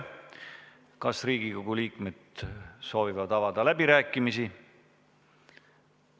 Kas Riigikogu liikmed soovivad avada läbirääkimisi?